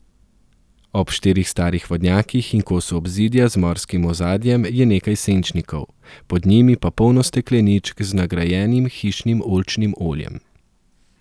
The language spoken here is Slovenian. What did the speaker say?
Ob štirih starih vodnjakih in kosu obzidja z morskim ozadjem je nekaj senčnikov, pod njimi pa polno stekleničk z nagrajenim hišnim oljčnim oljem.